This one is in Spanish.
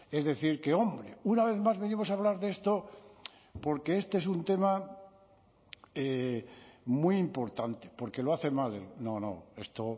es decir que hombre una vez más venimos a hablar de esto porque este es un tema muy importante porque lo hace mal no no esto